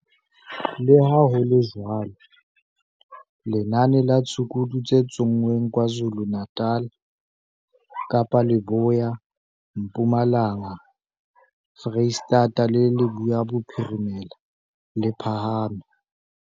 Leha ho le jwalo, lenane la ditshukudu tse tsonngweng KwaZulu-Natal, Kapa Leboya, Mpumalanga, Freistata le Leboya Bophirimela, le phahame.